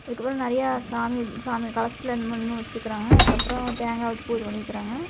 அதுக்கப்ரோ நெறைய சாமி சாமி கலசத்துல என்னமோ என்மோ வெச்சுருக்காங்க அதுக்கப்ரோ தேங்கா வெச்சு பூஜ பண்ணிருக்காங்க.